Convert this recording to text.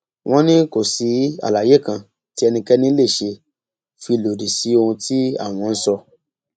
wọn ní kò sí àlàyé kan tí ẹnikẹni lè ṣe fi lòdì sí ohun tí àwọn ń sọ